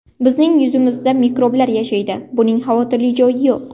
Bizning yuzimizda mikroblar yashaydi; buning xavotirli joyi yo‘q.